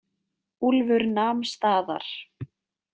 Úlfur nam staðar.